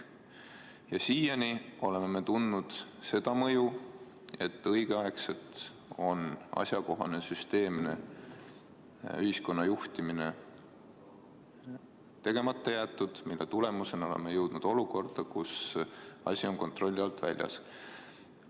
Ja siiani oleme tundnud seda mõju, et asjakohane, süsteemne ühiskonna juhtimine on õigeaegselt tegemata jäetud, mille tulemusena oleme jõudnud olukorda, kus asi on kontrolli alt väljas.